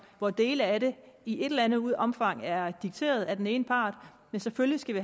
hvor dele af det i et eller andet omfang er dikteret af den ene part men selvfølgelig skal